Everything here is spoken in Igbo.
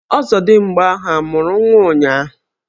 Ọzọdimgba ahụ amụrụ nwa ụnyahụ?